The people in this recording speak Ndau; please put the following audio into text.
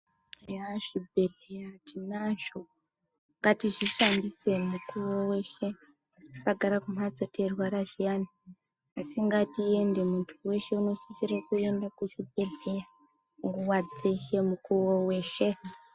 Eya zvibhedhlera tinazvo ngatizvishandise mukuwo weshe tisagara kumhatso teirwara zviyana asi ngatiyende muntu weshe unosisire Kuenda kuzvibhedhlera nguwa dzeshe mukowo weshe.